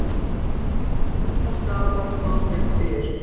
Höfða skaðabótamál gegn Byr